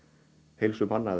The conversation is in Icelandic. heilsu manna